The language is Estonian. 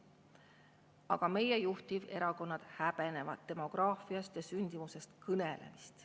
Aga meie juhtiverakonnad häbenevad demograafiast ja sündimusest kõnelemist.